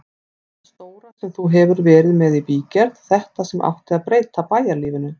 Þetta stóra sem þú hefur verið með í bígerð, þetta sem átti að breyta bæjarlífinu.